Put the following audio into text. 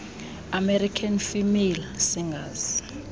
american female singers